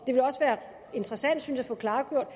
det vil også være interessant at få klargjort